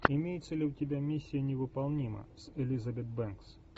имеется ли у тебя миссия невыполнима с элизабет бэнкс